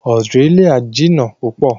Australia jìnà púpọ̀